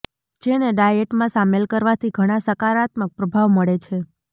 જેને ડાયેટમાં શામેલ કરવાથી ઘણા સકારાત્મક પ્રભાવ મળે છે